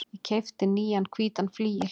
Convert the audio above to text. Ég keypti nýjan hvítan flygil.